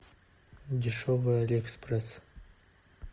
дешевый алиэкспресс